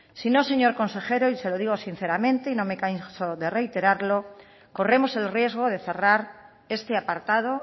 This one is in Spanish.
si no señor consejero y se lo digo sinceramente y no me canso de reiterarlo corremos el riesgo de cerrar este apartado